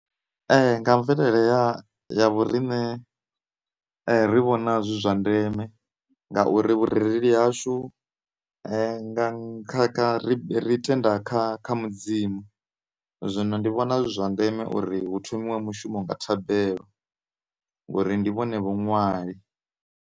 Nga mvelele ya, ya, ya vho rine ri vhona zwi zwa ndeme ngauri vhurereli hashu ri tenda kha mudzimu, zwino ndi vhona zwi zwa ndeme uri hu thomiwe mushumo nga thabelo ngori ndi vhone vho ṅwali.